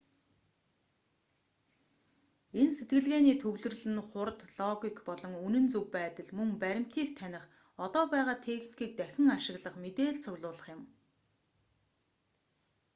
энэ сэтгэлгээний төвлөрөл нь хурд логик болон үнэн зөв байдал мөн баримтыг таних одоо байгаа техникийг дахин ашиглах мэдээлэл цуглуулах юм